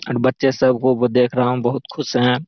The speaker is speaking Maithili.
और बच्चे सब को देख रहा हूँ बहुत खुश है।